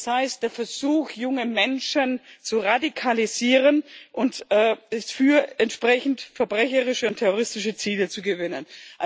Das heißt, der Versuch, junge Menschen zu radikalisieren und für entsprechend verbrecherische und terroristische Ziele zu gewinnen.